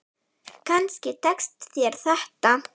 Kannski tekst þér þetta.